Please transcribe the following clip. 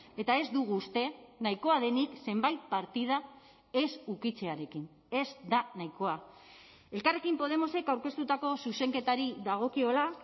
eta ez dugu uste nahikoa denik zenbait partida ez ukitzearekin ez da nahikoa elkarrekin podemosek aurkeztutako zuzenketari dagokiola